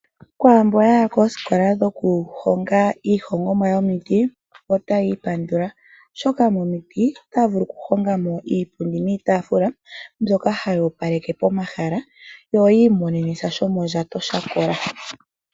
Kwaamboka yaya koosikola dhoku honga iihongomwa yomiti otayi ipandula oshoka momiti otaya vulu oku honga mo iipundi niitaafula mbyoka mbyoka hayi opaleke pomahala, yo yi imonene sha shomondjato sha kola.